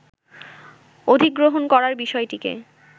অধিগ্রহণ করার বিষয়টিকে